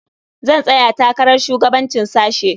Zan tsaya takarar shugabancin sashe.